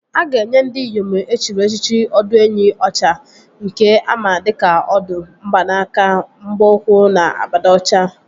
A ga-enye ndị Iyom e chiri echichi ọdụenyi ọcha nke ama dịka Ọdụ, mgbanaka, mgba ụkwụ na abada ọcha